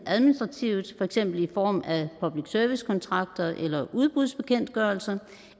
administrativt for eksempel i form af public service kontrakter eller udbudsbekendtgørelser